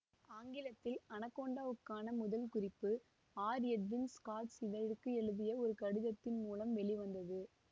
ஆங்கிலத்தில் அனகோண்டாவுக்கான முதல் குறிப்பு ஆர் எட்வின் ஸ்காட்ஸ் இதழுக்கு எழுதிய ஒரு கடிதத்தின் மூலம் வெளிவந்தது